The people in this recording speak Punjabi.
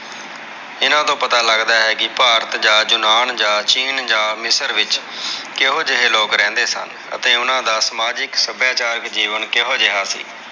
ਇਹਨਾਂ ਤੋਂ ਪਤਾ ਲੱਗਦਾ ਹੈ ਕਿ ਭਾਰਤ ਜਾ ਯੂਨਾਨ ਜਾ ਚੀਨ ਜਾ ਮਿਸਰ ਵਿਚ ਕੇਹੋ ਜਿਹੇ ਲੋਗ ਰਹਿੰਦੇ ਸਨ ਤੇ ਓਹਨਾ ਦਾ ਸਮਾਜਿਕ ਸੱਭਿਆਚਾਰਕ ਜੀਵਨ ਕਿਹੋ ਜੇਹਾ ਸੀ।